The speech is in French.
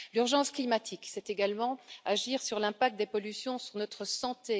L'urgence climatique, c'est également agir sur l'impact des pollutions sur notre santé.